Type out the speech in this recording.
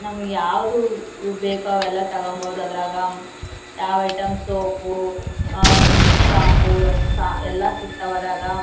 ನಮಗೆ ಯಾವ್ದು ಬೇಕು ಅದೆಲ್ಲ ತಗೋಬಹುದು ಅದರಾಗ. ಯಾವ್ ಐಟಂ ಸೋಪು ಹ್ಮ್ಮ್ಮ್ ಶಾಂಪೂ ಸ ಎಲ್ಲ ಸಿಗ್ತವ ಅದರಾಗ.